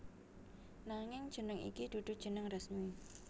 Nanging jeneng iki dudu jeneng resmi